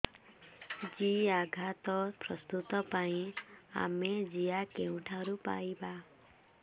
ଜିଆଖତ ପ୍ରସ୍ତୁତ ପାଇଁ ଆମେ ଜିଆ କେଉଁଠାରୁ ପାଈବା